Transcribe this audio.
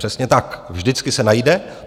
Přesně tak - vždycky se najde.